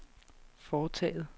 foretaget